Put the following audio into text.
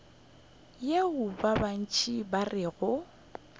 yeo ba bantši ba rego